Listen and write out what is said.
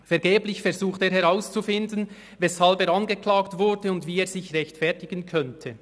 Vergeblich versucht er herauszufinden, weshalb er angeklagt wurde und wie er sich rechtfertigen könnte.